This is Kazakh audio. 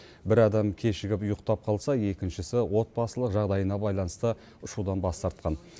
бір адам кешігіп ұйықтап қалса екіншісі отбасылық жағдайына байланысты ұшудан бас тартқан